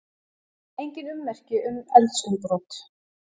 Engin ummerki um eldsumbrot